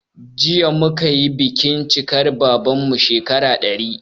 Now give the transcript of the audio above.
Jiya muka yi bikin cikar babanmu shekara 100